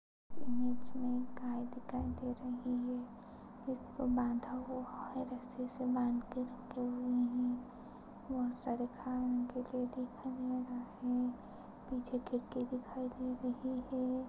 Image मे एक गाय दिखाई दे रही है। इसको बाधा हुआ है। रस्सीसे बांध के रखे हुए है। बहुत सारे घास यह दिखाई दे रहा है। पिछे खिड़की दिखाई दे रही है।